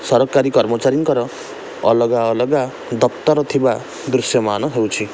ସରକାରୀ କର୍ମଚାରୀଙ୍କର ଅଲଗା ଅଲଗା ଦପ୍ତର ଥିବା ଦୃଶ୍ୟମାନ ହେଉଛି ।